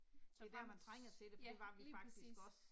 Så dens ja, lige præcis